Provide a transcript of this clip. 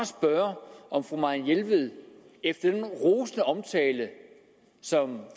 spørge om fru marianne jelved efter denne rosende omtale som